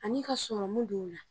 Ani ka sɔrɔmu don u la.